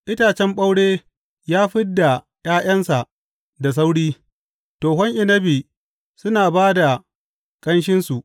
Itacen ɓaure ya fid da ’ya’yansa da sauri; tohon inabi suna ba da ƙanshinsu.